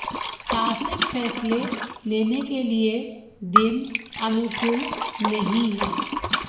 साहसिक फैसले लेने के लिये दिन अनुकूल नहीं है